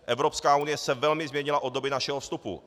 Evropská unie se velmi změnila od doby našeho vstupu.